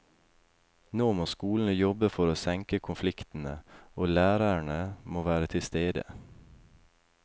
Nå må skolen jobbe for å senke konfliktene, og lærerne må være tilstede.